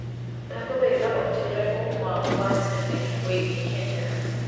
ndagũthaĩtha ũjire ũma wa tene wĩigie Kenya